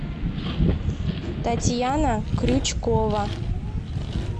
татьяна крючкова